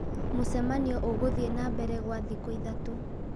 Mũcemanio ũgũthiĩ na mbere gwa thikũ ithatũ